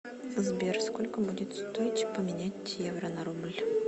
сбер сколько будет стоить поменять евро на рубль